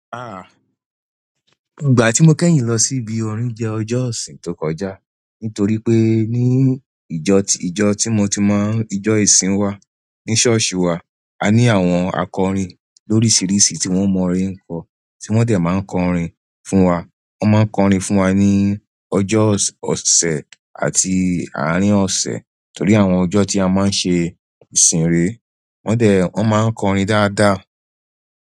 Ah! Ìgbà tí mo kẹ́yìn lọ sí ibi orin jẹ́ ọjọ́ ìsin tó kọjá. Nítorí pé ní ìjọ, ìjọ tí mo ti mọ̀, ìjọ ìsin wa ní ṣọ́ọ̀ṣì wa, a ní àwọn akọrin lóríṣiríṣi tí wọ́n mọ orin ńkọ tí wọ́n dẹ̀ máa ń kọ orin fún wa. Wọ́n máa ń kọ orin fún wa ní ọjọ́ ọ̀sẹ̀ àti àárín ọ̀sẹ̀. Nítorí àwọn ọjọ́ tí a máa ń ṣe ìsìn rè, wọ́n dẹ̀, wọ́n máa ń kọ orin dáadáa.